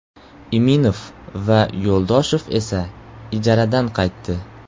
Iminov va Yo‘ldoshev esa ijaradan qaytdi.